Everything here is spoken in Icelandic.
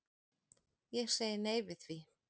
Ég segi nei við því.